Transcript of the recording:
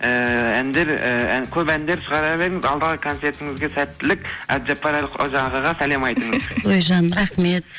ііі әндер і көп әндер шығара беріңіз алдағы концертіңізге сәттілік әбжаппар әлқожа ағаға сәлем айтыңыз ой жаным рахмет